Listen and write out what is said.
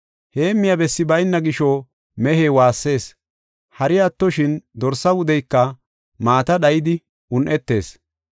Heemmiya bessi bayna gisho, mehey waassees. Hari attoshin dorsa wudeyka maata dhayidi un7etees.